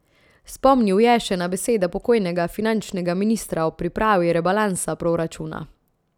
Spomnil je še na besede pokojnega finančnega ministra ob pripravi rebalansa proračuna.